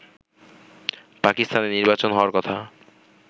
পাকিস্তানে নির্বাচন হওয়ার কথা